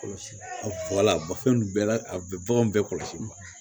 Kɔlɔsi bɛɛ la a bɛ baganw bɛɛ kɔlɔsi